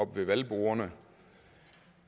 ved valgbordene